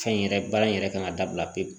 Fɛn in yɛrɛ baara in yɛrɛ kan ka dabila pewu